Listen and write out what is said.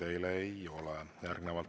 Küsimusi teile ei ole.